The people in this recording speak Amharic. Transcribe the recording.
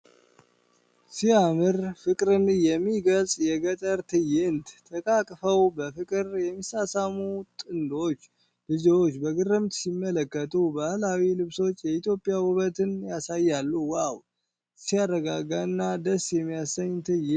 ሲያምር! ፍቅርን የሚገልጽ የገጠር ትዕይንት። ተቃቅፈው በፍቅር የሚሳሳሙ ጥንዶች። ልጆች በግርምት ሲመለከቱ። ባህላዊ ልብሶች የኢትዮጵያን ውበት ያሳያሉ። ዋው፣ ሲያረጋጋና ደስ የሚያሰኝ ትዕይንት!